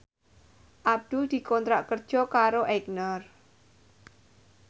Abdul dikontrak kerja karo Aigner